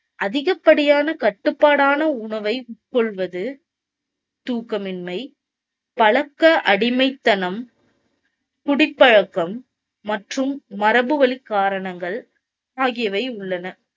அதிகப்படியான கட்டுப்பாடான உணவை உட்கொள்வது, தூக்கமின்மை, பழக்க அடிமைத்தனம், குடிப்பழக்கம் மற்றும் மரபு வழிக் காரணங்கள் ஆகியவை உள்ளன.